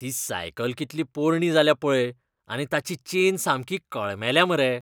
ती सायकल कितली पोरणीं जाल्या पळय आनी ताची चेन सामकी कळमेल्या मरे.